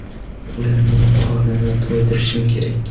Ularning qornini to‘ydirishim kerak.